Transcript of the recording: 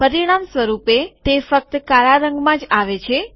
પરિણામસ્વરૂપે તે ફક્ત કાળા રંગમાં જ આવે છે